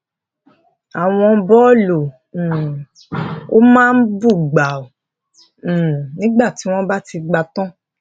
àwọn bóòlù um òwú máa bú gbàù um nígbà tí wón bá ti dàgbà tán